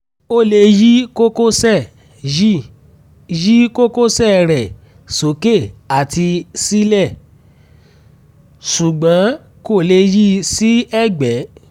ó lè yí kókósẹ̀ yí kókósẹ̀ rẹ̀ sókè àti sílẹ̀ ṣùgbọ́n kò lè yi sí ẹ̀gbẹ́